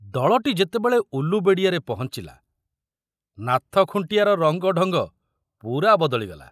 ଦଳଟି ଯେତେବେଳେ ଉଲ୍ଲୁବେଡ଼ିଆରେ ପହଞ୍ଚିଲା, ନାଥ ଖୁଣ୍ଟିଆର ରଙ୍ଗ ଢଙ୍ଗ ପୂରା ବଦଳିଗଲା।